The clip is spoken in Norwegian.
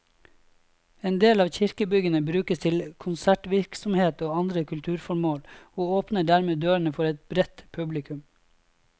En del av kirkebyggene brukes til konsertvirksomhet og andre kulturformål, og åpner dermed dørene for et bredt publikum.